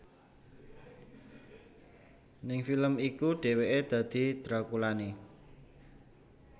Ning film iku dheweké dadi drakulané